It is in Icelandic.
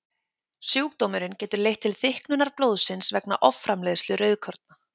Sjúkdómurinn getur leitt til þykknunar blóðsins vegna offramleiðslu rauðkorna.